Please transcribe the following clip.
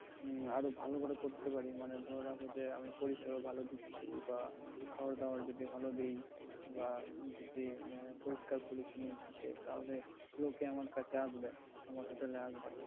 আরো ভালো করে করতে পারি মানে ধরে রাখো যে আমি পরিষেবা ভালো দিচ্ছি বা খাবারদাবার যদি ভালো দিই বা যদি আহ পরিষ্কার পরিচ্ছন্ন থাকে তাহলে লোকে আমার কাছে আসবে আমার hotel এ আসবে।